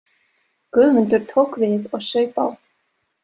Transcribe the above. Guðmundur tók við og saup á.